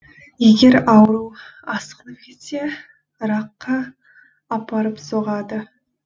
егер ауру асқынып кетсе ракқа апарып соғады